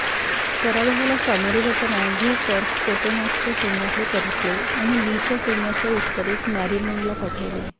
पराभवाला सामोरे जाताना V corps पोटोमाकच्या सैन्याकडे परतले आणि लीच्या सैन्याच्या उत्तरेस मेरीलँडला पाठवले